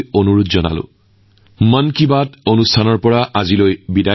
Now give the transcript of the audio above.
আপোনালোক সকলোকে বিশেষকৈ যুৱকযুৱতী ছাত্ৰছাত্ৰীক কাইলৈ অভিলেখ সংখ্যক যোগদান কৰিবলৈ আহ্বান জনালোঁ